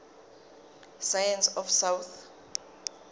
science of south